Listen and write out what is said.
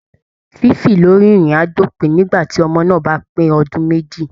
Fífì lórí ìrìn á dópin nígbà tí ọmọ náà bá pè ọdún méjì